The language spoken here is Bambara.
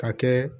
Ka kɛ